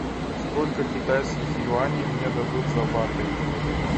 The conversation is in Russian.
сколько китайских юаней мне дадут за баты